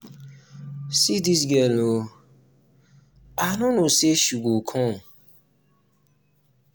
see dis girl um oo i no know say she go um come